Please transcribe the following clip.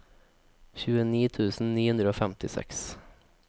tjueni tusen ni hundre og femtiseks